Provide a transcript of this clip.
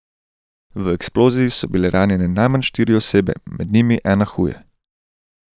V eksploziji so bile ranjene najmanj štiri osebe, med njimi ena huje.